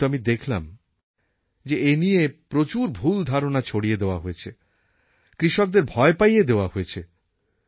কিন্তু আমি দেখলাম যে এই নিয়ে প্রচুর ভুল ধারণা ছড়িয়ে দেওয়া হয়েছে কৃষকদের ভয় পাইয়ে দেওয়া হয়েছে